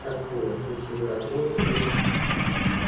так вот если вы работали